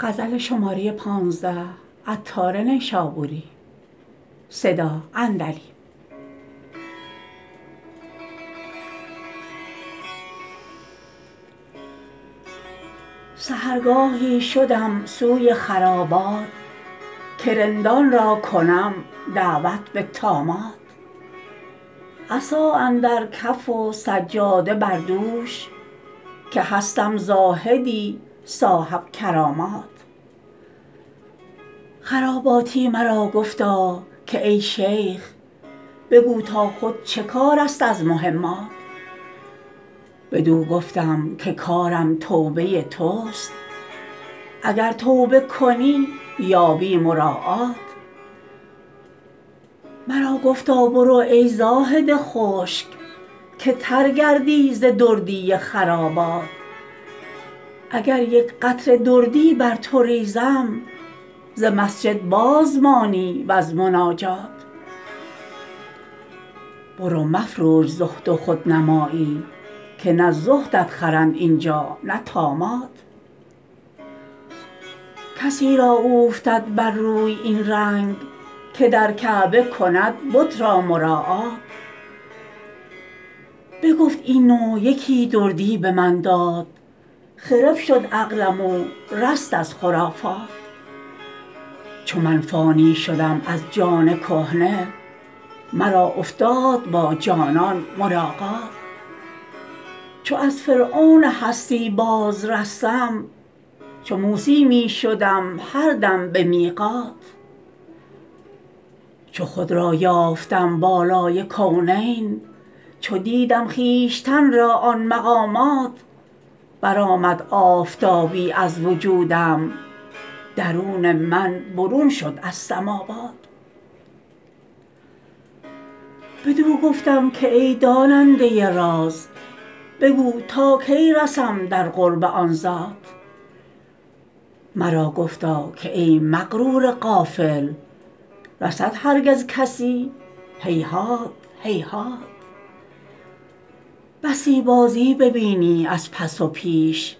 سحرگاهی شدم سوی خرابات که رندان را کنم دعوت به طامات عصا اندر کف و سجاده بر دوش که هستم زاهدی صاحب کرامات خراباتی مرا گفتا که ای شیخ بگو تا خود چه کار است از مهمات بدو گفتم که کارم توبه توست اگر توبه کنی یابی مراعات مرا گفتا برو ای زاهد خشک که تر گردی ز دردی خرابات اگر یک قطره دردی بر تو ریزم ز مسجد باز مانی وز مناجات برو مفروش زهد و خودنمایی که نه زهدت خرند اینجا نه طامات کسی را اوفتد بر روی این رنگ که در کعبه کند بت را مراعات بگفت این و یکی دردی به من داد خرف شد عقلم و رست از خرافات چو من فانی شدم از جان کهنه مرا افتاد با جانان ملاقات چو از فرعون هستی باز رستم چو موسی می شدم هر دم به میقات چو خود را یافتم بالای کونین چو دیدم خویشتن را آن مقامات برآمد آفتابی از وجودم درون من برون شد از سماوات بدو گفتم که ای داننده راز بگو تا کی رسم در قرب آن ذات مرا گفتا که ای مغرور غافل رسد هرگز کسی هیهات هیهات بسی بازی ببینی از پس و پیش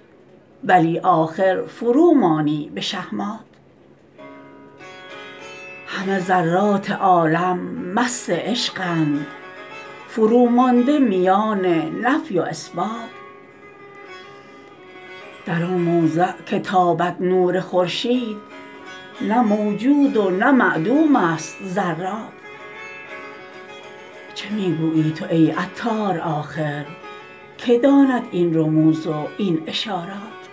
ولی آخر فرومانی به شهمات همه ذرات عالم مست عشقند فرومانده میان نفی و اثبات در آن موضع که تابد نور خورشید نه موجود و نه معدوم است ذرات چه می گویی تو ای عطار آخر که داند این رموز و این اشارات